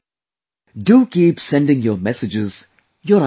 Do keep sending your messages, your ideas